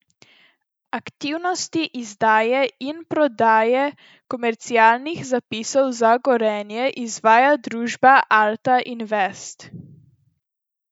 Aktivnosti izdaje in prodaje komercialnih zapisov za Gorenje izvaja družba Alta Invest.